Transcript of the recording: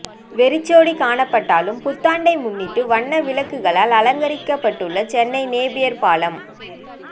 வெறிச்சோடி காணப்பட்டாலும் புத்தாண்டை முன்னிட்டு வண்ண விளக்குகளால் அலங்கரிக்கப்பட்டுள்ள சென்னை நேபியர் பாலம்